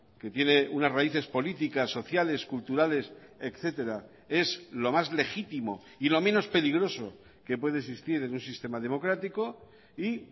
que tiene unas raíces políticas sociales culturales etcétera es lo más legítimo y lo menos peligroso que puede existir en un sistema democrático y